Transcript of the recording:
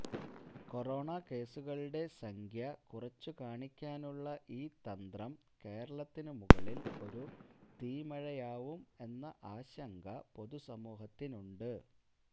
corona കേസുകളുടെ സംഖ്യ കുറച്ചു കാണിക്കാനുള്ള ഈ തന്ത്രം കേരളത്തിനു മുകളില് ഒരു തീമഴയാവും എന്ന ആശങ്ക പൊതുസമൂഹത്തിനുണ്ട്